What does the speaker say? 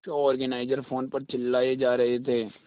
show organiser phone पर चिल्लाए जा रहे थे